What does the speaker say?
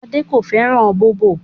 Ade kò fẹ́ràn bóbò